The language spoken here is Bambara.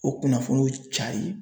O kunnafoniw cari.